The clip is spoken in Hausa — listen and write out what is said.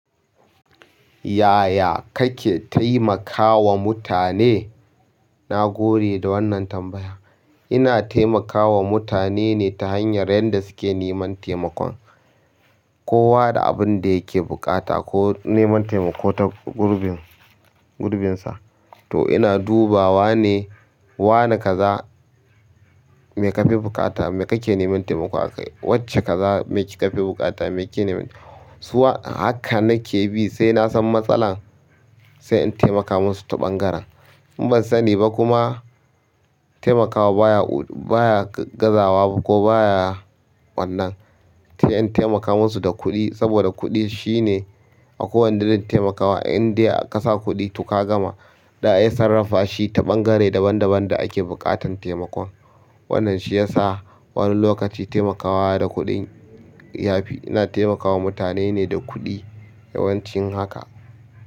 Yaya kake taimakawa mutane? Na gode da wannan tambaya. Ina taimakawa mutane ne ta hanyar yabda suke neman taimakon. Kowa da abin da yake buƙata ko neman taimako ta gurbin, gurbinsa. To ina dubawa ne, wane kaza mai kafi bukata, me kake neman taimako akai, wacce kaza mai ki kafi bukata me kike neman. Suwa, haka nake bi sai nasan matsalar, sai in taimaka musu ta ɓangaren. Ban sani ba kuma taimakawa baya baya gaza wa ko baya wannan. In taimaka musu da kuɗi saboda kuɗi shine a kowane irin taimakawa, indai ka sa kuɗi to ka gama. Za'a iya sarrafa shi ta ɓangare daban-daban da ake buƙatan taimakon. Wannan shiyasa wani lokaci taimakawa da kuɗi yafi ina taimakawa mutane ne da kuɗi yawancin haka.